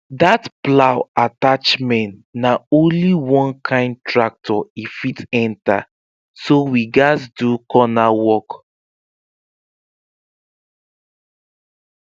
that plow attachment na only one kind tractor e fit enter so we gatz do corner work